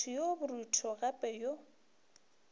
motho yo borutho gape yo